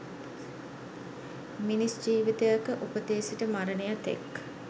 මිනිස් ජීවිතයක උපතේ සිට මරණය තෙක්